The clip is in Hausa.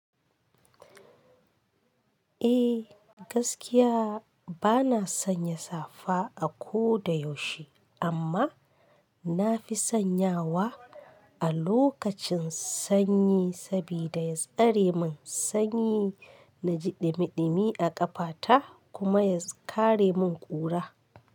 Eh gaskiya bana sanya safa a ko da yaushe amma nafi sanyawa a lokacin sanyi saboda ya tsare min sanyi na ji ɗimiɗimi a ƙafata kuma ya kare mun ƙura.